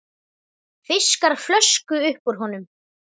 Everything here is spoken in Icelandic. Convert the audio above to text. Fiskar flösku upp úr honum.